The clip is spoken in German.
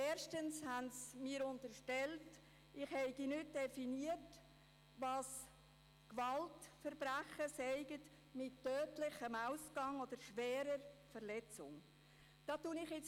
Erstens unterstellen sie mir, ich hätte nicht definiert, was Gewaltverbrechen mit tödlichem Ausgang oder schwerer Verletzung seien.